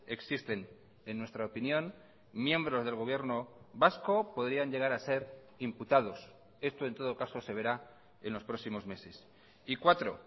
existen en nuestra opinión miembros del gobierno vasco podrían llegar a ser imputados esto en todo caso se verá en los próximos meses y cuatro